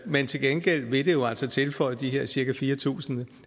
men til gengæld vil det jo altså tilføje de her cirka fire tusind